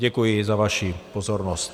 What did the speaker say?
Děkuji za vaši pozornost.